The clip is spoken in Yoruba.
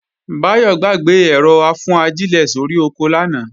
Báyọ̀ gbàgbé ẹ̀rọ-afúnajílẹ̀ sórí oko lánàá